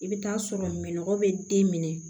I bɛ taa sɔrɔ minɛn bɛ den minɛ